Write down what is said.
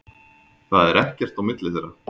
Það er ekkert á milli þeirra.